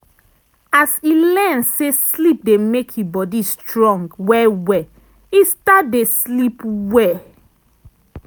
as e learn say sleep dey make e body strong well well e start dey sleep well.